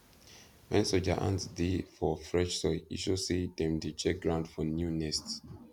when soldier ants dey for fresh soil e show say dem dey check ground for new nest